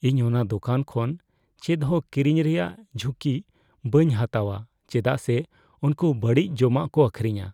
ᱤᱧ ᱚᱱᱟ ᱫᱚᱠᱟᱱ ᱠᱷᱚᱱ ᱪᱮᱫ ᱦᱚᱸ ᱠᱤᱨᱤᱧ ᱨᱮᱭᱟᱜ ᱡᱷᱩᱸᱠᱤ ᱵᱟᱹᱧ ᱦᱟᱛᱟᱣᱼᱟ ᱪᱮᱫᱟᱜ ᱥᱮ ᱩᱱᱠᱩ ᱵᱟᱹᱲᱤᱡ ᱡᱚᱢᱟᱜ ᱠᱚ ᱟᱹᱠᱷᱨᱤᱧᱟ ᱾